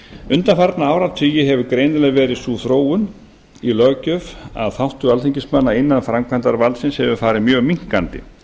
undanfarna áratugi hefur greinilega verið sú þróun í löggjöf að þáttur alþingismanna innan framkvæmdarvaldsins hefur farið mjög minnkandi